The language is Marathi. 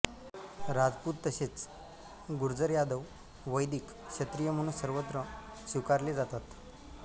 राजपूत तसेच गुर्जरयादववैदिक क्षत्रिय म्हणून सर्वत्र स्वीकारले जातात